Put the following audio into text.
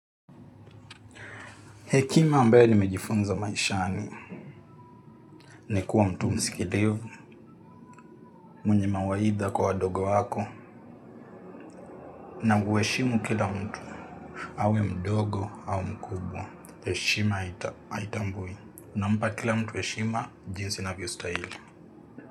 Hekima ambayo nimejifunza maishani ni kuwa mtu msikilivu mwenye mawaidha kwa wadogo wako. Na huheshimu kila mtu awe mdogo au mkubwa. Heshima haitambui unampa kila mtu heshima jinsi inavyostahili.